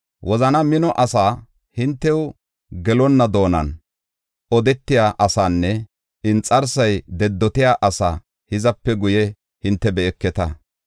Wozana mino asaa, hintew gelonna doonan odetiya asaanne inxarsay dedotiya asaa hizape guye hinte be7eketa.